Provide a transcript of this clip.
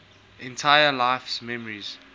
entire life's memories